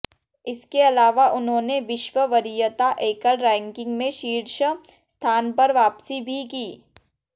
इसके अलावा उन्होंने विश्व वरीयता एकल रैंकिंग में शीर्ष स्थान पर वापसी भी की